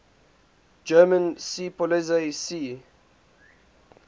german seepolizei sea